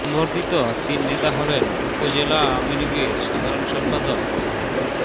সংবর্ধিত তিন নেতা হলেন উপজেলা আওয়ামী লীগের সাধারণ সম্পাদক মো